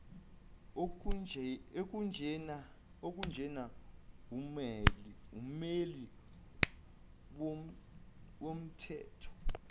okunjena wummeli womthetho